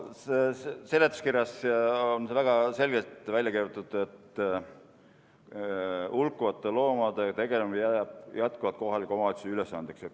Seletuskirjas on see väga selgelt välja kirjutatud, et hulkuvate loomadega tegelemine jääb jätkuvalt kohaliku omavalitsuse ülesandeks.